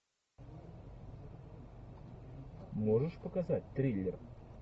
можешь показать триллер